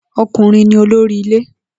O̩kùnrin ni olórí ilé